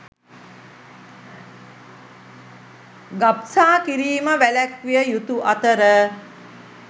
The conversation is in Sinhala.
ගබ්සා කිරීම වැළැක්විය යුතු අතර